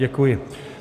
Děkuji.